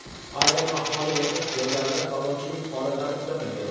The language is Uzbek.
Ayrim aholi yashash joylarida talonchilik holatlari kuzatilgan.